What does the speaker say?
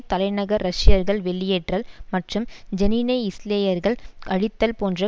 தலைநகர் ரஷ்யர்கள் வெளியேற்றல் மற்றும் ஜெனினை இஸ்ரேலியர்கள் அழித்தல் போன்ற